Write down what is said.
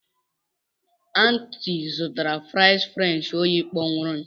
Aunty zụtara fries french oyi kpọnwụrụ.